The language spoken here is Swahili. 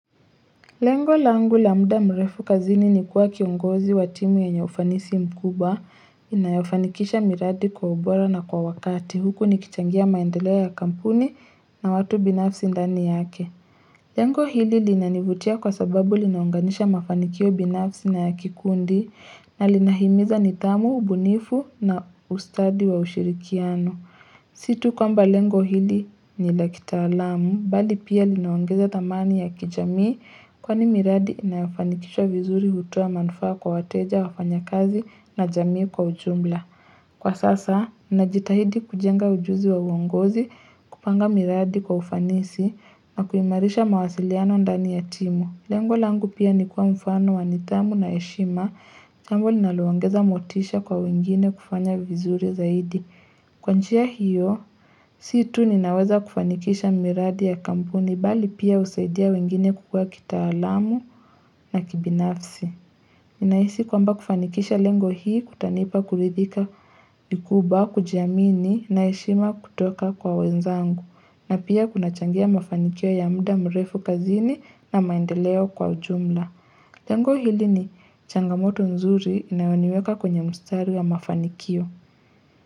Lengo langu lamuda mrefu kazini ni kuwa kiongozi wa timu yenye ufanisi mkubwa inayofanikisha miradi kwa ubora na kwa wakati huku nikichangia maendeleo ya kampuni na watu binafsi ndani yake. Lengo hili linanivutia kwa sababu linaunganisha mafanikio binafsi na kikundi na linahimiza nithamu, ubunifu na ustadi wa ushirikiano. Situ kwa mba lengo hili ni lakitaalamu, bali pia linaongeza thamani ya kijamii kwa ni miradi inafanikishwa vizuri hutoa manufaa kwa wateja wafanya kazi na jamii kwa ujumla. Kwa sasa, minajitahidi kujenga ujuzi wa uongozi kupanga miradi kwa ufanisi na kuimarisha mawasiliano ndani ya timu. Lengo langu pia nikuwa mfano wanithamu na eshima, jambo linaloongeza motisha kwa wengine kufanya vizuri zaidi. Kwa njia hiyo, siitu ninaweza kufanikisha miradi ya kampuni bali pia usaidia wengine kukua kita alamu na kibinafsi. Inaisi kwamba kufanikisha lengo hii kutanipa kulidhika vikubwa, kujiamini na eshima kutoka kwa wenzangu. Na pia kuna changia mafanikio ya mda mrefu kazini na maendeleo kwa ujumla. Lengo hili ni changamoto nzuri inayoniweka kwenye mstari ya mafanikio.